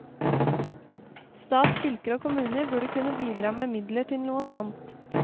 Stat, fylker og kommuner burde kunne bidra med midler til noe sånt.